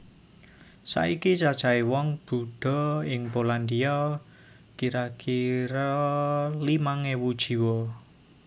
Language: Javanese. Saiki cacahé wong Buddha ing Polandia kira kira limang ewu jiwa